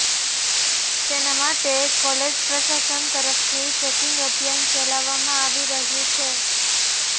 તેના માટે કોલેજ પ્રશાસન તરફથી ચેકિંગ અભિયાન ચલાવવામાં આવી રહ્યું છે